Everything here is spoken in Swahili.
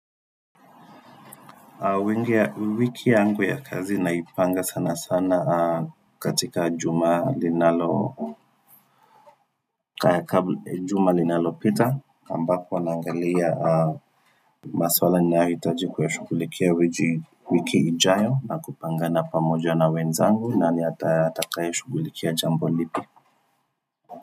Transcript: Wengi ya wiki yangu ya kazi naipanga sana sana katika juma linalo pita ambapo nangalia maswala ninayoitaji kuwa shugulikia wiki ijayo na kupangana pamoja na wenzangu naniatakae shugulikia jambo lipi.